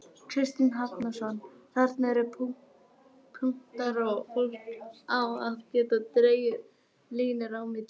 Kristinn Hrafnsson: Þarna eru bara punktar og fólk á að geta dregið línur á milli?